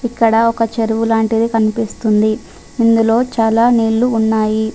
ఇక్కడ ఒక చెరువు లాంటిది కనిపిస్తుంది ఇందులో చాలా నీళ్లు ఉన్నాయి.